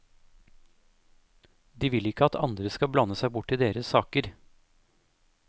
De vil ikke at andre skal blande seg borti deres saker.